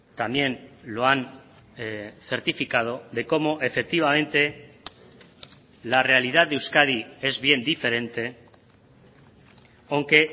también lo han certificado de cómo efectivamente la realidad de euskadi es bien diferente aunque